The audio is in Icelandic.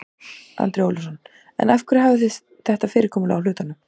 Andri Ólafsson: En af hverju hafið þið þetta fyrirkomulag á hlutunum?